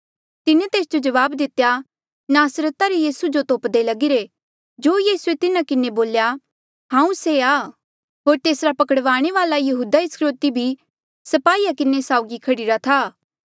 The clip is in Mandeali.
तिन्हें तेस जो जवाब दितेया नासरता रे यीसू जो तोप्दे लगीरे जो यीसूए तिन्हा किन्हें बोल्या हांऊँ से आं होर तेसरा पकड़वाणे वाल्आ यहूदा इस्करयोति भी स्पाहीया किन्हें साउगी खड़ीरा था